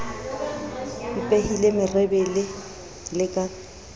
mpehile merebele e le ka